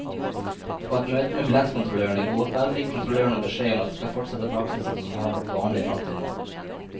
På et møte med billettkontrollørene i går kveld fikk kontrollørene beskjed om at de skal fortsette praksisen som har vært vanlig frem til nå.